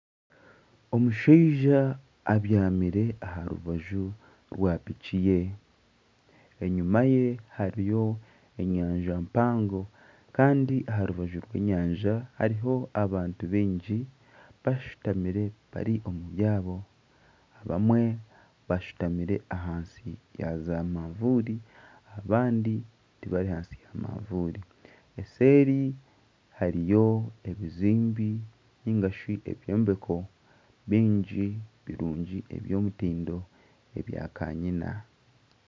Omushaija abyamire aha rubaju rwa piki ye enyuma ye hariyo enyanja mpango kandi aha rubaju rw'enyanja hariho abantu baingi bashutamire bari omu byabo, abamwe bashutamire ahansi yaaza mavuuri abandi tibari ahansi ya mavuuri eseeri hariyo ebizimbe nigashi ebyombeko bingi birungi by'omutindo ebya kanyina.